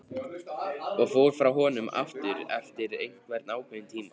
Og fór frá honum aftur eftir einhvern ákveðinn tíma.